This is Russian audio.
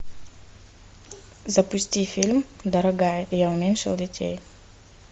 запусти фильм дорогая я уменьшил детей